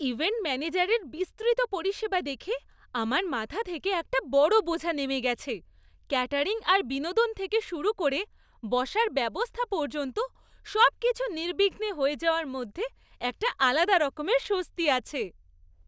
Event ম্যানেজারের বিস্তৃত পরিষেবা দেখে আমার মাথা থেকে একটা বড় বোঝা নেমে গেছে। ক্যাটারিং আর বিনোদন থেকে শুরু করে বসার ব্যবস্থা পর্যন্ত; সবকিছু নির্বিঘ্নে হয়ে যাওয়ার মধ্যে একটা আলাদা রকমের স্বস্তি আছে।